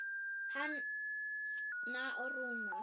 Hanna og Rúnar.